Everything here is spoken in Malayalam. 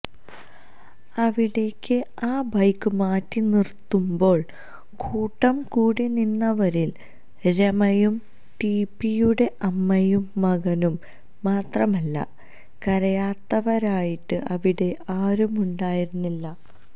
അവിടേക്ക് ആ ബൈക്ക് മാറ്റി നിര്ത്തുമ്പോള് കൂട്ടം കൂടിനിന്നവരില് രമയും ടിപിയുടെ അമ്മയും മകനും മാത്രമല്ല കരയാത്തവരായിട്ട് അവിടെ ആരുമുണ്ടായിരുന്നില്ല